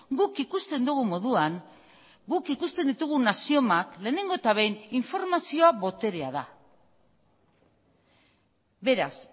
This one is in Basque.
guk ikusten dugun moduan guk ikusten ditugun axiomak lehenengo eta behin informazioa boterea da beraz